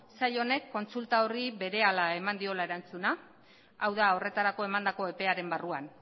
sail honek kontsulta horri berehala eman diola erantzuna hau da horretarako emandako epearen barruan